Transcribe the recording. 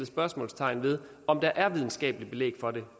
spørgsmålstegn ved om der er videnskabeligt belæg for det